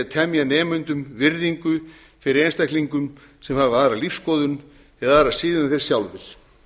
temja nemendum virðingu fyrir einstaklingum sem hafa aðra lífsskoðun eða aðra siði en þeir sjálfir